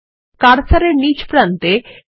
এখন কার্সারটি কোনো একটি হাতল এর উপর আনুন